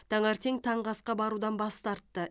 таңертең таңғы асқа барудан бас тартты